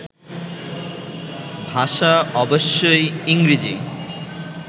ভাষা অবশ্যই ইংরেজি